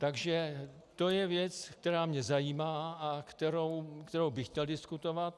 Takže to je věc, která mě zajímá a kterou bych chtěl diskutovat.